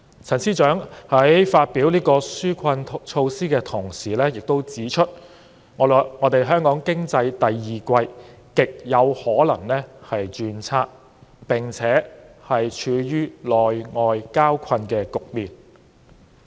陳司長在公布紓困措施時亦指出，香港經濟第二季極有可能轉差，並且處於內外交困的局面。